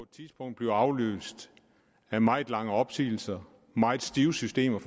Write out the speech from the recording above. tidspunkt bliver afløst af meget lange opsigelser meget stive systemer